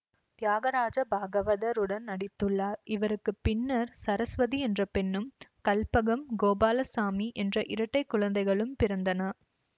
தியாகராஜ பாகவதர் உடன் நடித்துள்ளார் இவருக்கு பின்னர் சரசுவதி என்ற பெண்ணும் கல்பகம் கோபாலசாமி என்ற இரட்டை குழந்தைகளும் பிறந்தன